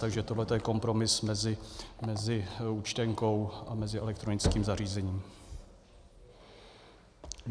Takže tohle je kompromis mezi účtenkou a mezi elektronickým zařízením.